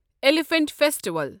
elephant festival